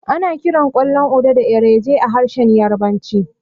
Ana kiran ƙwallon Uda da Erenje a harshen Yarabanci.